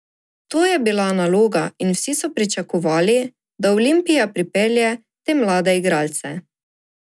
To je bila naloga in vsi so pričakovali, da Olimpija pripelje te mlade igralce.